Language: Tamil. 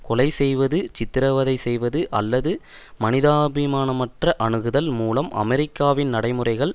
கொலை செய்வது சித்திரவதை செய்வது அல்லது மனிதாபிமானமற்ற அணுகுதல் மூலம் அமெரிக்காவின் நடைமுறைகள்